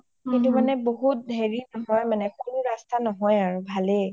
অ অ কিন্তু মানে বহুত হেৰি নহয় মানে cool ৰাস্তা নহয় আৰু ভালে